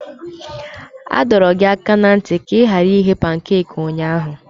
A dọrọ gị aka ná ntị ka ị ghara ighe pankaki ụnyahụ!